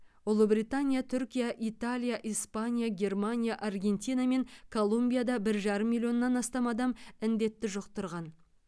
ұлыбритания түркия италия испания германия аргентина мен колумбияда бір жарым миллионнан астам адам індетті жұқтырған